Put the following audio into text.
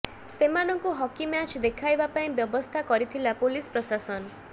ସେମାନଙ୍କୁ hockey match ଦେଖାଇବା ପାଇଁ ବ୍ୟବସ୍ଥା କରିଥିଲା ପୋଲିସ ପ୍ରଶାସନ